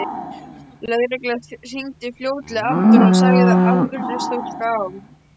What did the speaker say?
Lögreglan hringdi fljótlega aftur og sagði að afgreiðslustúlka á